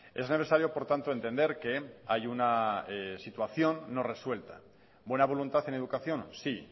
es necesario por tanto entender que hay una situación no resuelta buena voluntad en educación sí